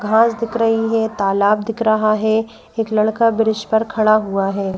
घास दिख रही है तालाब दिख रहा है एक लड़का ब्रिज पर खड़ा हुआ है।